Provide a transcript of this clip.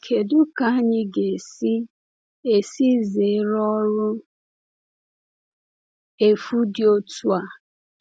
Kedu ka anyị ga - esi esi zere ọrụ efu dị otu a?